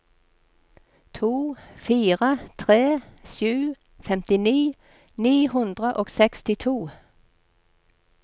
to fire tre sju femtini ni hundre og sekstito